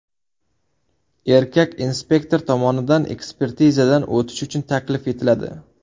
Erkak inspektor tomonidan ekspertizadan o‘tish uchun taklif etiladi.